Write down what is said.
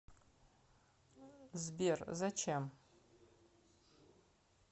сбер зачем